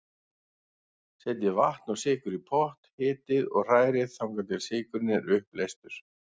Setjið vatn og sykur í pott, hitið og hrærið þangað til sykurinn er uppleystur.